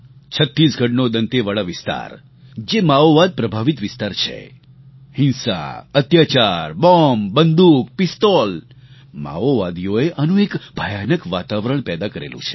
છત્તીસગઢનો દંતેવાડા વિસ્તાર જે માઓવાદ પ્રભાવિત વિસ્તાર છે હિંસા અત્યાચાર બૉમ્બ બંદૂક પિસ્તોલ માઓવાદીઓએ આનું એક ભયાનક વાતાવરણ પેદા કરેલું છે